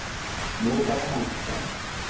moo o ka kgonang ka